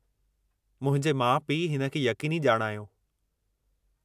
मुंहिंजे माउ पीउ हिन खे यक़ीनी ॼाणायो।